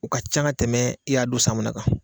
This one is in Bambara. U ka can ka tɛmɛ i y'a don san mun na kan